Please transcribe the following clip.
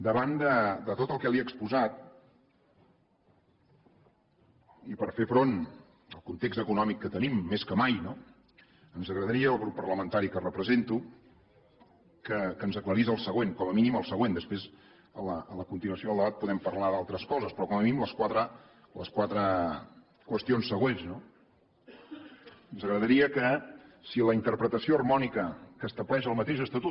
davant de tot el que li he exposat i per fer front al context econòmic que tenim més que mai ens agradaria al grup parlamentari que represento que ens aclarís el següent com a mínim el següent després a la continuació del debat podem parlar d’altres coses però com a mínim les quatre qüestions següents ens agradaria que si la interpretació harmònica que estableix el mateix estatut